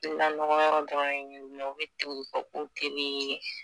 Lanɔgɔn yɔrɔ be yen nɔn, o be tugun ko kelen ye .